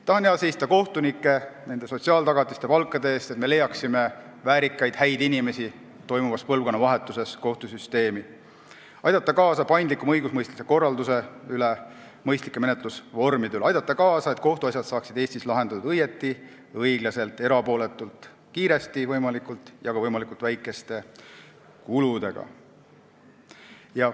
Tahan hea seista kohtunike, nende sotsiaaltagatiste ja palkade eest, et me leiaksime praeguses põlvkonnavahetuses kohtusüsteemi väärikaid ja häid inimesi, ning aidata kaasa paindlikumale õigusemõistmise korraldusele ja mõistlikele menetlusvormidele, nii et kohtuasjad saaksid Eestis lahendatud õigesti, õiglaselt, erapooletult, võimalikult kiiresti ja võimalikult väikeste kuludega.